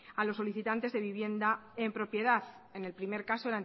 a los solicitantes de vivienda en propiedad en el primer caso